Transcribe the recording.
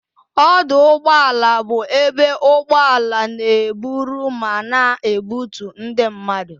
Ọdụ ụgbọala bụ ebe ụgbọala n'eburu ma na ebutu ndị mmadụ